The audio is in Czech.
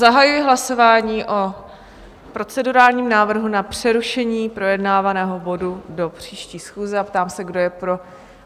Zahajuji hlasování o procedurálním návrhu na přerušení projednávaného bodu do příští schůze a ptám se, kdo je pro?